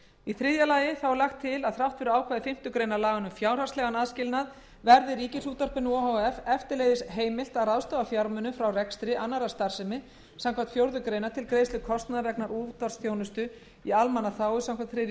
í þriðja lagi er lagt til að þrátt fyrir ákvæði fimmtu grein laganna um fjárhagslegan aðskilnað verði ríkisútvarpinu o h f eftirleiðis heimilt að ráðstafa fjármunum frá rekstri annarrar starfsemi samkvæmt fjórðu grein til greiðslu kostnaðar vegna útvarpsþjónustu í almannaþágu samkvæmt þriðju